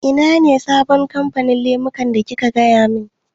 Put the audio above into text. Ina ne sabon kamfanin lemukan da kika gaya min?